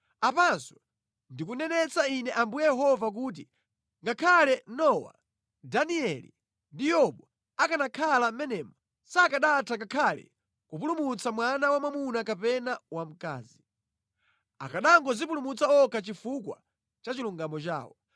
Apanso ndikunenetsa Ine Ambuye Yehova kuti ngakhale Nowa, Danieli ndi Yobu akanakhala mʼmenemo, sakanatha ngakhale kupulumutsa mwana wamwamuna kapena wamkazi. Akanangodzipulumutsa okha chifukwa cha chilungamo chawo.